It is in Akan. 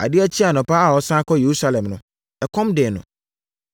Adeɛ kyee anɔpa a ɔresane akɔ Yerusalem no, ɛkɔm dee no.